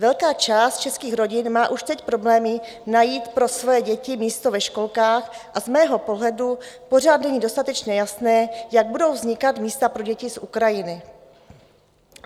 Velká část českých rodin má už teď problémy najít pro svoje děti místo ve školkách a z mého pohledu pořád není dostatečně jasné, jak budou vznikat místa pro děti z Ukrajiny.